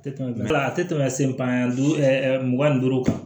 Tɛ tɛmɛ a tɛ tɛmɛ sen kan duga ni duuru kan